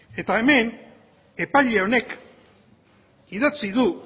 eta hemen epaile honek idatzi du